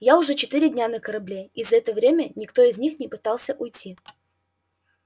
я уже четыре дня на корабле и за это время никто из них не пытался уйти